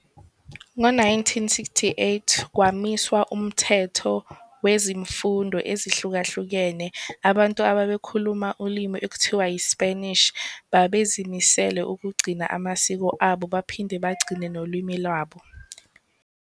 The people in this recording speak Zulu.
Ngo-1968, kwamiswa uMthetho Wezemfundo Ezahlukahlukene, abantu ababe khuluma ulimi okuthiwa iSpanishi babezi misele ukugcina amasiko abo baphinde bagcine nolwimi lwabo.